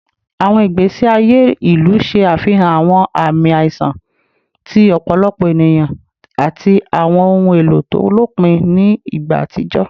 Awọn igbesi aye ilu ṣe afihan awọn aami aiṣan ti ọpọlọpọ eniyan ati awọn ohun elo to lopin ni igba atijọ